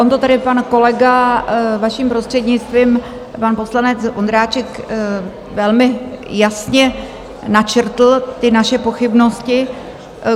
On to tady pan kolega, vaším prostřednictvím, pan poslanec Vondráček velmi jasně načrtl, ty naše pochybnosti.